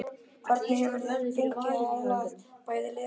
Hvernig hefur þér gengið að aðlagast bæði liðinu og kerfinu?